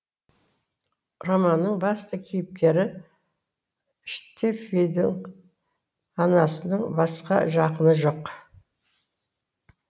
романның басты кейіпкері штефидің анасының басқа жақыны жоқ